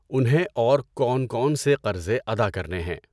انہیں اور کون کون سے قرضے ادا کرنے ہیں؟